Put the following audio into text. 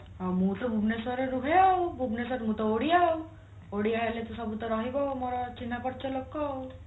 ହଁ ମୁଁ ତ ଭୁବନେଶ୍ୱର ରେ ରୁହେ ଆଉ ଭୁବନେଶ୍ୱର ମୁଁ ତ ଓଡିଆ ଆଉ ଓଡିଆ ହେଲେ ତ ସବୁ ତ ରହିବ ମୋ ଚିହ୍ନାପର୍ଚ ଲୋକ ଆଉ